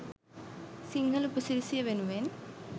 සිංහල උපසිරැසිය වෙනුවෙන්.